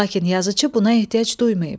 Lakin yazıcı buna ehtiyac duymayıb.